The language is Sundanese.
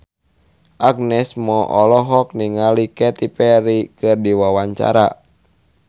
Agnes Mo olohok ningali Katy Perry keur diwawancara